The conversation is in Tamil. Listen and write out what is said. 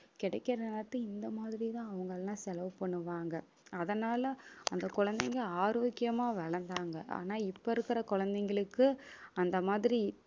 கிடைக்கிற நேரத்த இந்த மாதிரிதான், அவங்க எல்லாம் செலவு பண்ணுவாங்க அதனால அந்த குழந்தைங்க ஆரோக்கியமா வளர்ந்தாங்க. ஆனா இப்ப இருக்கிற குழந்தைங்களுக்கு அந்த மாதிரி